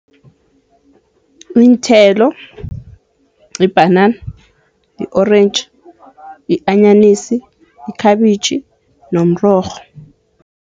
Iinthelo yibhanana, yi-orentji, yi-anyanisi, yikhabitjhi nomrorho.